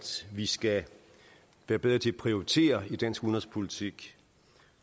vi skal være bedre til at prioritere i dansk udenrigspolitik